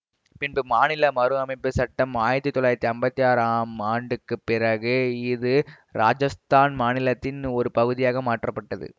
பின்பு மாநில மறுஅமைப்பு சட்டம் ஆயிரத்தி தொள்ளாயிரத்தி ஐம்பத்தி ஆறாம் ஆண்டுக்கு பிறகு இது ராஜஸ்தான் மாநிலத்தின் ஒரு பகுதியாக மாற்றப்பட்டது